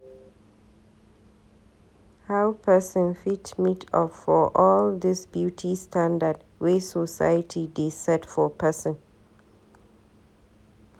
How pesin fit meet up for all dis beauty standard wey society dey set for pesin.